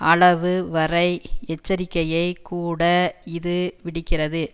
அளவு வரை எச்சரிக்கையை கூட இது விடுக்கிறது